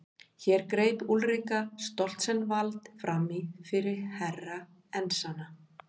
Hér greip Úlrika Stoltzenwald framí fyrir Herra Enzana.